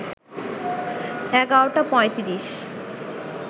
১১টা ৩৫